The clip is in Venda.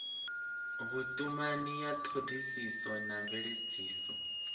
vhutumani ya thodisiso na mveledziso